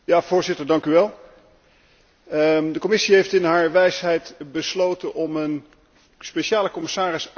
De Commissie heeft in haar wijsheid besloten om een speciale commissaris aan te stellen voor betere regelgeving.